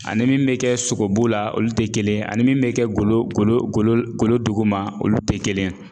Ani min bɛ kɛ sogobu la olu te kelen ye ani min bɛ kɛ golo golo golo golo duguma olu te kelen ye.